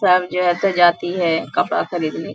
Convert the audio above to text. सब जगह से जाती है कपड़ा खरीदने --